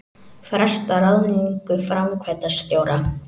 Fresta ráðningu framkvæmdastjóra